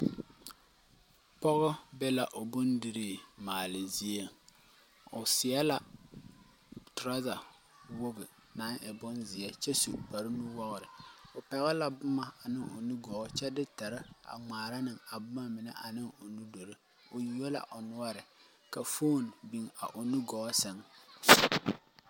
Pogɔ be la o bondirii maale zie o seɛ la trɔza wogi naŋ e bonzeɛ kyɛ su kparenuwogre o pɛgle la bomma ane o nugɔɔ kyɛ de teri a ngmaara ne a boma mine ane o nudure o yuo la nɔɔre kyɛ ka fone meŋ biŋ a o nugɔɔ sɛŋ.